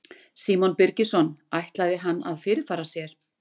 Símon Birgisson: Ætlaði hann að fyrirfara sér?